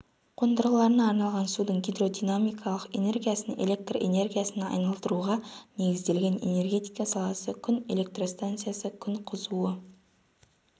қондырғыларына арналған судың гидродинамикалық энергиясын электр энергиясына айналдыруға негізделген энергетика саласы күн электростанциясы күн қызуы